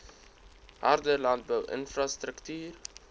harde landbou infrastruktuur